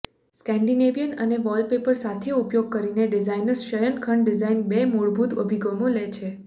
Scandinavian અને wallpaper સાથી ઉપયોગ કરીને ડિઝાઇનર્સ શયનખંડ ડિઝાઇન બે મૂળભૂત અભિગમો લે છે